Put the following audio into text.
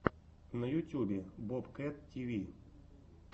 на ютюбе бобкэт тиви